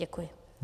Děkuji.